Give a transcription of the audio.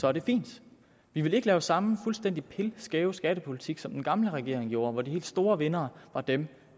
er det fint vi vil ikke lave samme fuldstændig pilskæve skattepolitik som den gamle regering gjorde hvor de helt store vindere var dem